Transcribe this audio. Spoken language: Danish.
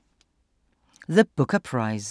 The Booker Prize